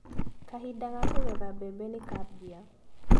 Kahinda ga kũgetha mbembe nĩkambia.